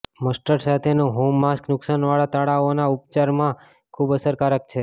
mustard સાથેનું home mask નુકસાનવાળા તાળાઓના ઉપચારમાં ખૂબ અસરકારક છે